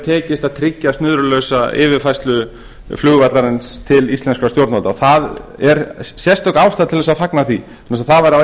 tekist að tryggja snurðulausa yfirfærslu flugvallarins til íslenskra stjórnvalda og það er sérstök ástæða til þess að fagna því vegna þess að það var á